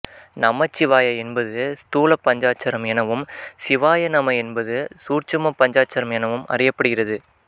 நமசிவாய என்பது ஸ்தூல பஞ்சாட்சரம் எனவும் சிவாயநம என்பது சூட்சும பஞ்சாட்சரம் எனவும் அறியப்படுகிறது